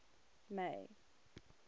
may